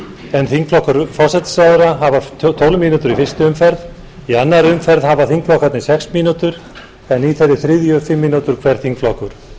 en þingflokkur forsætisráðherra hafa tólf mínútur í fyrstu umferð í annarri umferð hafa þingflokkarnir sex mínútur en í þeirri þriðju fimm mínútur hver þingflokkur